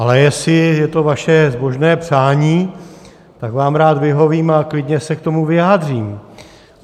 Ale jestli je to vaše zbožné přání, tak vám rád vyhovím a klidně se k tomu vyjádřím.